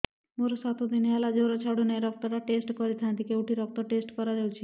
ମୋରୋ ସାତ ଦିନ ହେଲା ଜ୍ଵର ଛାଡୁନାହିଁ ରକ୍ତ ଟା ଟେଷ୍ଟ କରିଥାନ୍ତି କେଉଁଠି ରକ୍ତ ଟେଷ୍ଟ କରା ଯାଉଛି